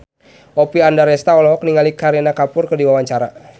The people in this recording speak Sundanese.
Oppie Andaresta olohok ningali Kareena Kapoor keur diwawancara